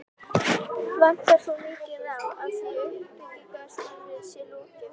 Vantar þó mikið á, að því uppbyggingarstarfi sé lokið.